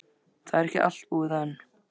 Það er ekki allt búið enn.